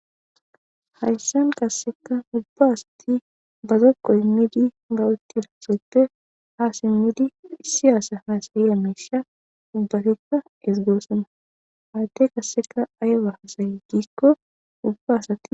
Hayssan qasseka ubba asati bazoqo immidi bawutti dassoppe haa simmidi issi aasa haasayi a mesha dubbatikka esgoossama haadde qasseka aywa hasaye giikko ubba asati.